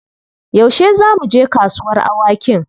Yaushe za mu je kasuwar awakin?